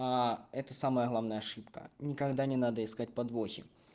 это самая главная ошибка никогда не надо искать подвохи